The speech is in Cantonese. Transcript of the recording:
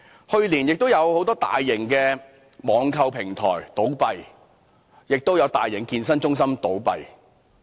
去年亦有很多大型網購平台、健身中心倒閉。